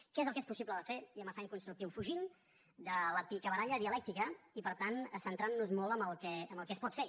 què és el que és possible de fer i amb afany constructiu fugint de la picabaralla dialèctica i per tant centrant nos molt en el que es pot fer